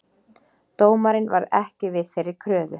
Dómarinn varð ekki við þeirri kröfu